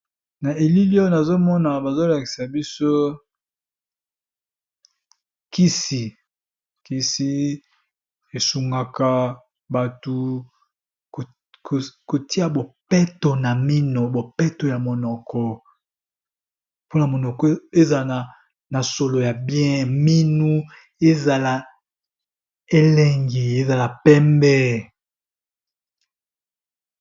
Na elili oyo nazali komona, bazo kolakisa biso kisi oyo esokolaka minu